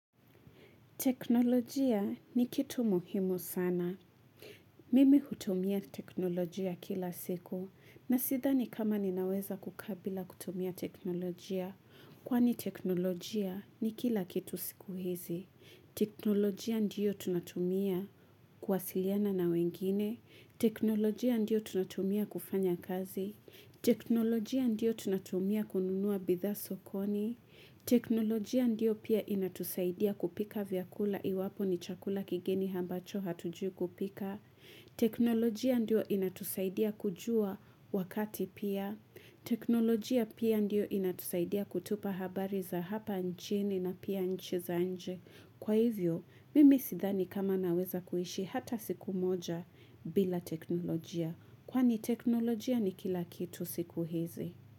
Teknolojia ni kitu muhimu sana. Mimi hutumia teknolojia kila siku na sidhani kama ninaweza kukaa bila kutumia teknolojia kwani teknolojia ni kila kitu siku hizi. Teknolojia ndiyo tunatumia kuwasiliana na wengine. Teknolojia ndiyo tunatumia kufanya kazi. Teknolojia ndio tunatumia kununua bidhaa sokoni teknolojia ndio pia inatusaidia kupika vyakula iwapo ni chakula kigeni ambacho hatujui kupika teknolojia ndio inatusaidia kujua wakati pia teknolojia pia ndio inatusaidia kutupa habari za hapa nchini na pia nchi za nje. Kwa hivyo, mimi sidhani kama naweza kuishi hata siku moja bila teknolojia Kwani teknolojia ni kila kitu siku hizi.